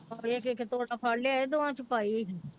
ਇੱਕ ਇੱਕ ਤੋੜਾ ਫੜ ਲਿਆਇਆ ਦੋਹਾਂ ਚ ਪਾਈ।